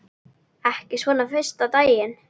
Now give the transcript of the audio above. Ekki svona fyrsta daginn.